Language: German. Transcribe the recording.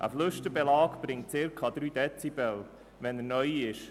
Ein Flüsterbelag bringt circa 3 Dezibel, wenn er neu ist.